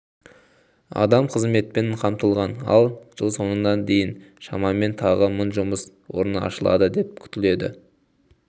адам қызметпен қамтылған ал жыл соңына дейін шамамен тағы мың жұмыс орны ашылады деп күтіледі